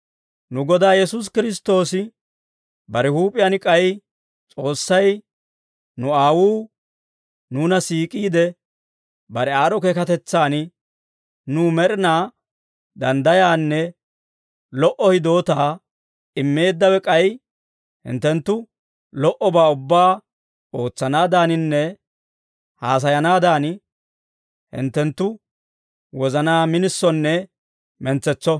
Nu Godaa Yesuusi Kiristtoosi bare huup'iyaan k'ay S'oossay, nu Aawuu nuuna siik'iide, bare aad'd'o keekatetsan nuw med'inaa danddayaanne lo"o hidootaa immeeddawe, k'ay hinttenttu lo"obaa ubbaa ootsanaadaninne haasayanaadan, hinttenttu wozanaa minisonne mentsetso.